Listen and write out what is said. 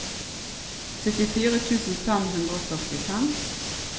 syttifire tusen fem hundre og førtifem